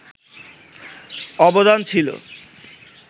অবদান ছিল